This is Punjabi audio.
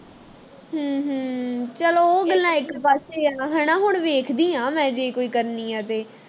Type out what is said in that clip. ਹਮ ਹਮ ਚੱਲ ਉਹ ਗੱਲਾਂ ਇਕ ਪਾਸੇ ਆ ਨਾ ਹਣਾ ਹੁਣ ਵੇਖਦੀ ਆ ਮੈਂ ਜੇ ਕੋਈ ਕਰਨੀ ਆ ਤੇ